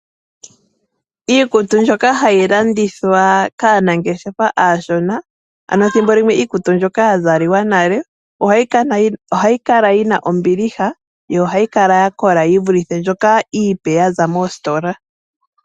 Iikutu mbyoka hayi landithwa kaanangeshefa aashona ano thimbo limwe iikutu mbyoka ya zaliwa nale. Ohayi kala yina ombiliha yo ohayi kala ya kola . Yi vulithe mbyoka iipe yaza moositola.